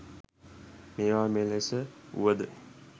මේවා මෙලෙස වුවද